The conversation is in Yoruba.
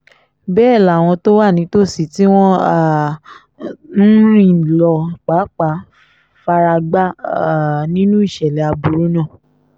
bẹ́ẹ̀ làwọn tó wà nítòsí tí wọ́n um ń rìn lọ pàápàá fara gbá um nínú ìṣẹ̀lẹ̀ aburú náà